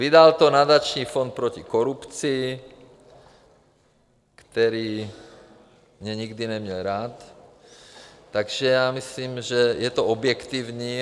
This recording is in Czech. Vydal to Nadační fond proti korupci, který mě nikdy neměl rád, takže si myslím, že to je objektivní.